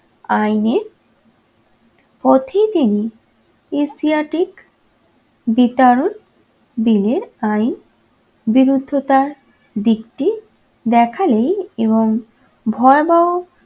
আইনের পথে তিনি দিনের আইন বিরুদ্ধতার দিকটি দেখালেই এবং ভয়াবহ